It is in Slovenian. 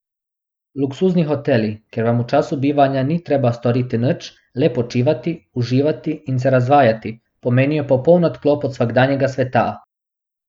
Luksuzni hoteli, kjer vam v času bivanja ni treba storiti nič, le počivati, uživati in se razvajati, pomenijo popoln odklop od vsakdanjega sveta.